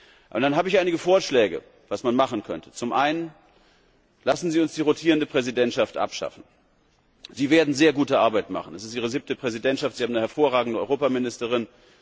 Freitag. Ich habe einige Vorschläge, was man machen könnte. Zum Einen Lassen Sie uns die rotierende Präsidentschaft abschaffen. Sie werden sehr gute Arbeit machen. Das ist Ihre siebte Präsidentschaft, Sie haben eine hervorragende Europaministerin.